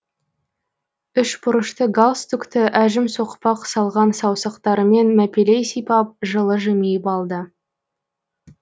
үш бұрышты галстукті әжім соқпақ салған саусақтарымен мәпелей сипап жылы жимиып алды